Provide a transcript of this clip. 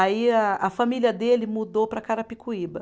Aí a a família dele mudou para Carapicuíba.